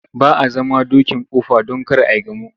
Ba a zama dokin kofa don kar ai gamo.